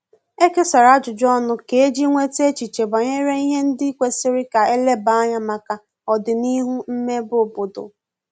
E kesara ajụjụ ọnụ kà eji nweta echiche banyere ihe ndi kwesiri ka eleba anya maka odinihu mmebe obodo